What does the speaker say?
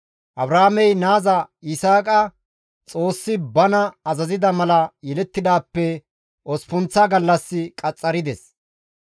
Abrahaamey naaza Yisaaqa Xoossi bana azazida mala yelettidaappe osppunththa gallas qaxxarides.